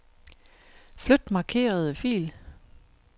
Flyt markerede fil.